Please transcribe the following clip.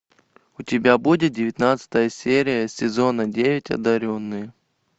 у тебя будет девятнадцатая серия сезона девять одаренные